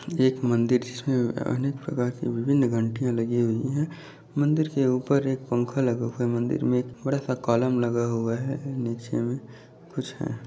एक मंदिर है जिसमें अनेक प्रकार के विभिन घंटियाँ लगी हुई है मंदिर के ऊपर एक पंखा लगा हुआ मंदिर में एक बड़ा सा कॉलम लगा हुआ है नीचे में कुछ है।